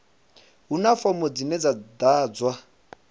huna fomo dzine dza ḓadzwa